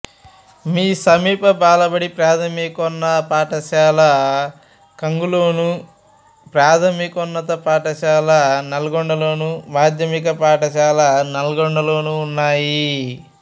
సమీప బాలబడి ప్రాథమిక పాఠశాల కన్గల్లోను ప్రాథమికోన్నత పాఠశాల నల్గొండలోను మాధ్యమిక పాఠశాల నల్గొండలోనూ ఉన్నాయి